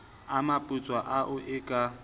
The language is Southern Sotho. a maputswa ao e ka